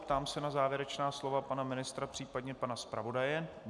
Ptám se na závěrečná slova pana ministra případně pana zpravodaje.